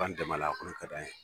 B'an dɛmɛ a la, o de ka d'an ye.